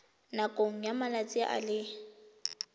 nakong ya malatsi a le